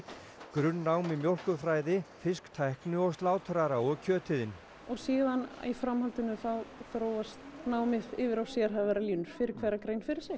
grunnnám í mjólkurfræði fisktækni og slátrara og kjötiðn og síðan í framhaldinu þá þróast námið yfir á sérhæfðari línur fyrir hverja grein fyrir sig